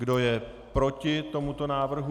Kdo je proti tomuto návrhu?